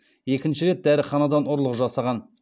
екінші рет дәріханадан ұрлық жасаған